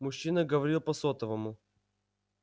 мужчина говорил по сотовому